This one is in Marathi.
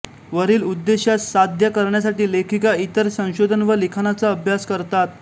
वरील उद्देशास साध्य करण्यासाठी लेखिका इतर संशोधन व लिखाणाचा अभ्यास करतात